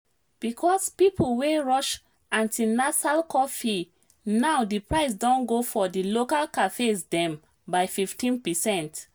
because people wey rush antinasal coffee now diprice don go for di local cafes dem by 15%